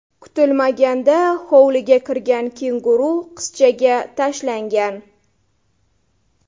Kutilmaganda hovliga kirgan kenguru qizchaga tashlangan.